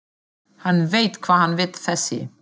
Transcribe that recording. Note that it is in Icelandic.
Hann veit hvað hann vill þessi!